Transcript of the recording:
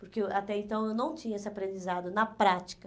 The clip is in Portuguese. Porque eu até então eu não tinha esse aprendizado na prática.